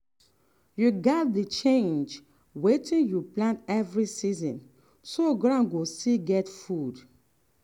you gats dey change wetin you plant every season so ground go still get food.